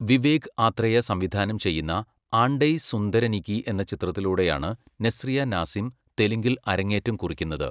വിവേക് ആത്രേയ സംവിധാനം ചെയ്യുന്ന 'ആണ്ടെ സുന്ദരനികി' എന്ന ചിത്രത്തിലൂടെയാണ് നസ്രിയ നാസിം തെലുങ്കിൽ അരങ്ങേറ്റം കുറിക്കുന്നത്.